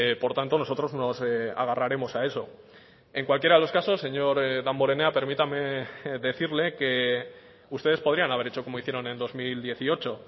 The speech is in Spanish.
por tanto nosotros nos agarraremos a eso en cualquiera de los casos señor damborenea permítame decirle que ustedes podrían haber hecho como hicieron en dos mil dieciocho